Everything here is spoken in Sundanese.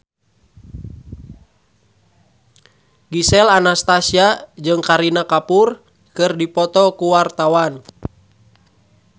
Gisel Anastasia jeung Kareena Kapoor keur dipoto ku wartawan